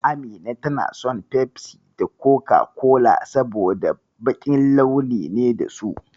Amina tana son Fefsi da Koka-kola, saboda baƙin launi ne da su.